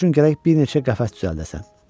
Onlar üçün gərək bir neçə qəfəs düzəldəsən.